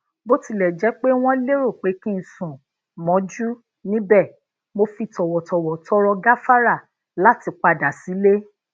bó tilè jé pé wón lero pé kí n sùn mójú níbè mo fi tòwòtòwò tọrọ gafara lati padà sílé